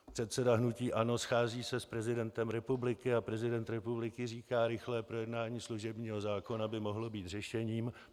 Předseda hnutí ANO se schází s prezidentem republiky a prezident republiky říká "rychlé projednání služebního zákona by mohlo být řešením".